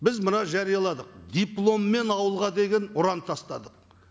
біз мына жарияладық дипломмен ауылға деген ұран тастадық